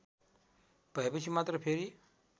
भएपछि मात्र फेरि